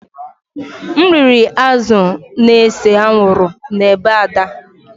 M riri azụ̀ na-ese anwụrụ n’ebe Ada